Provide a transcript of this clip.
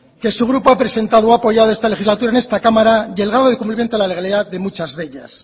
que su grupo ha presentado ha apoyado esta legislatura en esta cámara y el grado de cumplimiento de la legalidad de muchas de ellas